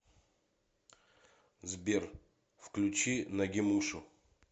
сбер включи нагимушу